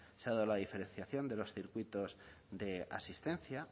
se ha dado la diferenciación de los circuitos de asistencia